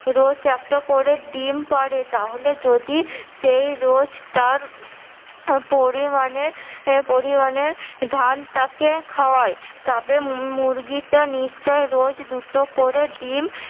রোজ একটা করে ডিম পারে তাহলে যদি সে রোজ তার পরিমানে পরিমানে ধান তাকে খাওয়ায় তবে মুরগিটা নিশ্চই রোজ দুটো করে ডিম